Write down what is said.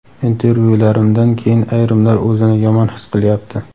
"Intervyularimdan keyin ayrimlar o‘zini yomon his qilyapti".